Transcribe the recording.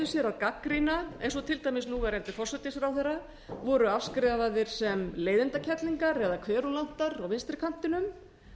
sér að gagnrýna eins og til dæmis núverandi forsætisráðherra voru afskrifaðir sem leiðindakerlingar eða kverúlantar á vinstri kantinum